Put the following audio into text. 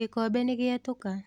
Gĩkombe nĩgĩetũka.